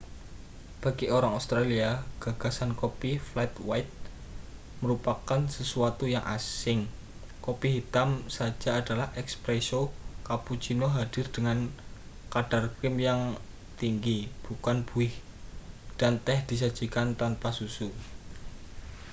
bagi orang australia gagasan kopi 'flat white' merupakan sesuatu yang asing. kopi hitam saja adalah 'espresso' cappuccino hadir dengan kadar krim yang tinggi bukan buih dan teh disajikan tanpa susu